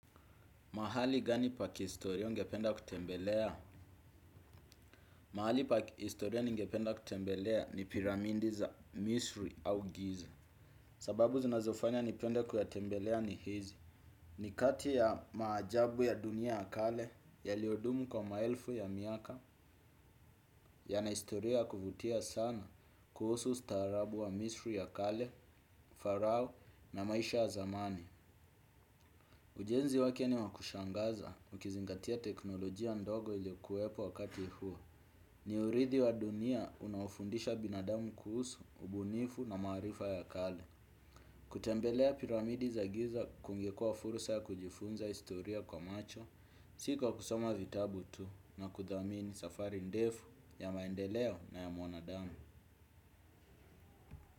Mahali gani pakihistoria ungependa kutembelea? Mahali pakihistoria ningependa kutembelea ni piramindi za misri au giza. Sababu zinazofanya nipende kuyatembelea ni hizi. Ni kati ya maajabu ya dunia ya kale yaliyodumu kwa maelfu ya miaka yana historia ya kuvutia sana kuhusu ustaarabu wa misri ya kale, farao na maisha ya zamani. Ujenzi wake ni wa kushangaza ukizingatia teknolojia ndogo iliyokuwepo wakati huo. Ni urithi wa dunia unaofundisha binadamu kuhusu, ubunifu na maarifa ya kale. Kutembelea piramidi za giza kungekua fursa ya kujifunza historia kwa macho. Si kwa kusoma vitabu tu na kuthamini safari ndefu ya maendeleo na ya mwanadamu.